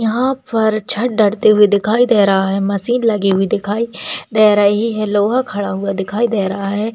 यहाँ पर छत डरती हुई दिखाई दे रहा है मशीन लगी हुई दिखाई दे रही है लोहा खड़ा हुआ दिखाई दे रहा है।